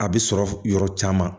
A bɛ sɔrɔ yɔrɔ caman